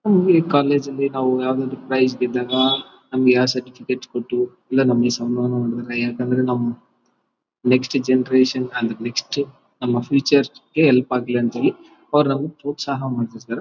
PU college ಲಿ ನಾವು ಯಾವುದಾದರು ಪ್ರೈಜ್ ಗೆದ್ದಾಗ ನಮಗೆ ಆ ಸರ್ಟಿಫಿಕೇಟ್ ಕೊಟ್ಟು ಇಲ್ಲ ನಮಗೆ ನೆಕ್ಸ್ಟ್ ಜೆನೆರೇಷನ್ ಅಂದ್ರೆ ನೆಕ್ಸ್ಟ್ ನಮ್ಮ ಫ್ಯೂಚರ್ ಗೆ ಹೆಲ್ಪ್ ಆಗಲಿ ಅಂತ ಹೇಳಿ ಅವ್ರು ನಮಗೆ ಪ್ರೋತ್ಸಾಹ ಮಾಡ್ತಿರ್ತಾರೆ .